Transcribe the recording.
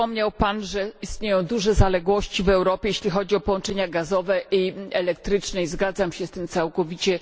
Wspomniał Pan, że istnieją duże zaległości w Europie, jeśli chodzi o połączenia gazowe i elektryczne. Zgadzam się z tym całkowicie.